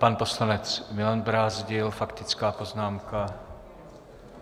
Pan poslanec Milan Brázdil - faktická poznámka.